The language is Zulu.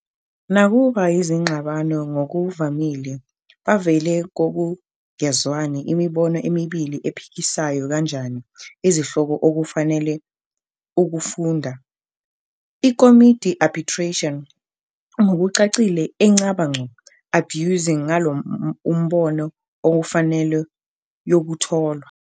Nakuba izingxabano ngokuvamile bavele kokungezwani imibono emibili ephikisayo kanjani izihloko okufanele ukufunda, iKomidi Arbitration ngokucacile enqaba ngqo abuse ngalo umbono okufanele yokutholwa.